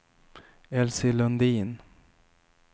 Elsie Lundin